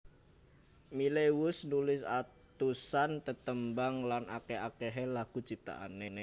Miley wus nulis atusan tetembangan lan akeh akehé lagu ciptaané